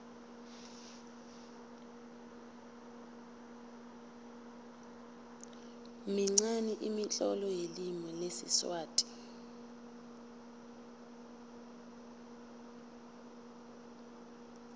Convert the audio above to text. minqani imitlolo yelimi lesiswati